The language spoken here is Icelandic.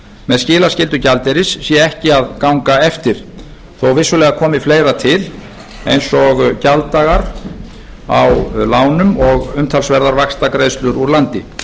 með skilaskyldu gjaldeyris gangi ekki eftir þótt vissulega komi fleira til eins og gjalddagar á lánum og umtalsverðar vaxtagreiðslur úr landi